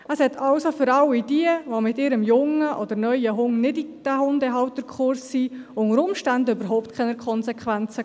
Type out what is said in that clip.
Für all diejenigen, die mit ihrem jungen oder neuen Hund nicht in diesen Hundehalterkurs gegangen sind, hatte das also unter Umständen überhaupt keine Konsequenzen.